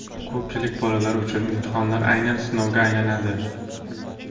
Ko‘pchilik bolalar uchun imtihonlar aynan sinovga aylanadi.